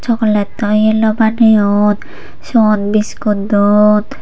sogolattoi yeloi baneyon siot biskut don.